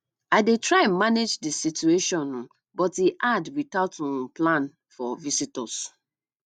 i dey try manage the situation um but e hard without um plan for visitors